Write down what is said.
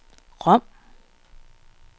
Rom